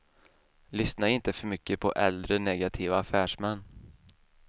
Lyssna inte för mycket på äldre, negativa affärsmän!